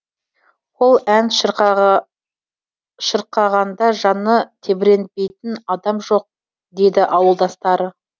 ол ән шырқағанда жаны тебіренбейтін адам жоқ дейді ауылдастары